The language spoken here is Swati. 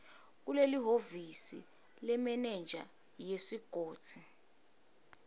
kulelihhovisi lemenenja yesigodzi